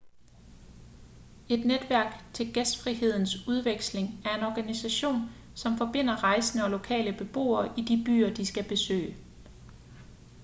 et netværk til gæstfrihedsudveksling er en organisation som forbinder rejsende og lokale beboere i de byer de skal besøge